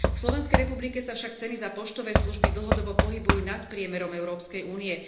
V Slovenskej republike sa však ceny za poštové služby dlhodobo pohybujú nad priemerom Európskej únie.